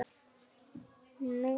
Nú sé það breytt.